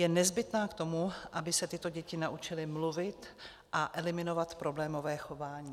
Je nezbytná k tomu, aby se tyto děti naučily mluvit a eliminovat problémové chování.